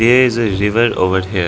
Here is a river over here.